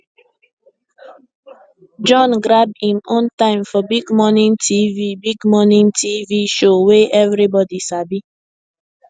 john grab im own time for big morning tv big morning tv show wey everybody sabi